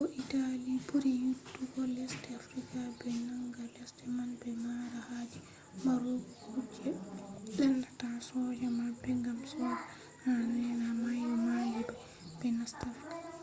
ko italy buri yidugo lesde afrika. be nanga lesde man be mara haje marugo kuje lendata soja mabbe gam soja en eera mayo maalia be nasta afrika